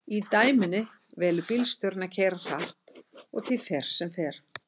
í dæminu velur bílstjórinn að keyra hratt og því fer sem fer